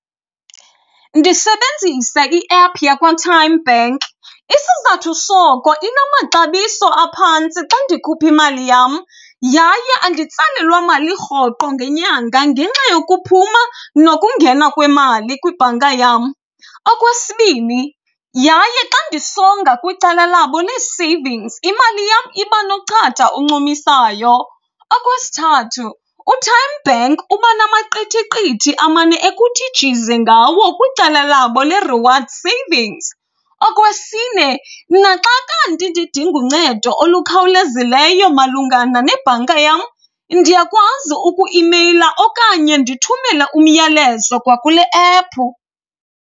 Ndisebenzisa iephu yakwaTymeBank. Isizathu soko inamaxabiso aphantsi xa ndikhupha imali yam, yaye anditsalelwa mali rhoqo ngenyanga ngenxa yokuphuma nokungena kwemali kwibhanka yam. Okwesibini, yaye xa ndisonga kwicala labo lee-savings, imali yam iba nochata oncumisayo. Okwesithathu, uTymeBank uba namaqithiqithi amane ekuthi jize ngawo kwicala labo le-reward savings. Okwesine, naxa kanti ndidinga uncedo olukhawulezileyo malungana nebhanka yam ndiyakwazi uku-imeyila okanye ndithumele umyalezo kwakule ephu.